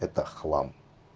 это хлам